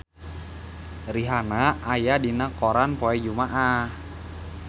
Rihanna aya dina koran poe Jumaah